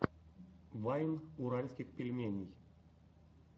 вайн уральских пельменей